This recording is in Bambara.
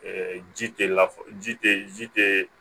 ji tɛ la ji tɛ ji tɛ